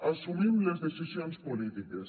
assumim les decisions polítiques